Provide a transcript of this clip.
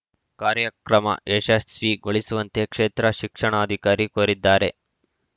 ಕಾರ್ಯಕ್ರಮ ಯಶಸ್ವಿಗೊಳಿಸುವಂತೆ ಕ್ಷೇತ್ರ ಶಿಕ್ಷಣಾಧಿಕಾರಿ ಕೋರಿದ್ದಾರೆ